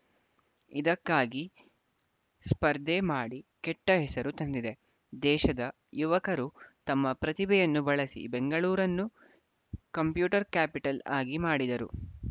ಇದಕ್ಕಾಗಿ ಸ್ಪರ್ಧೆ ಮಾಡಿ ಕೆಟ್ಟ ಹೆಸರು ತಂದಿದೆ ದೇಶದ ಯುವಕರು ತಮ್ಮ ಪ್ರತಿಭೆಯನ್ನು ಬಳಸಿ ಬೆಂಗಳೂರನ್ನು ಕಂಪ್ಯೂಟರ್‌ ಕ್ಯಾಪಿಟಲ್‌ ಆಗಿ ಮಾಡಿದ್ದರು